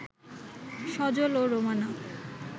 সজল ও রোমানা